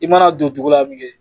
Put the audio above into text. I mana don dugu la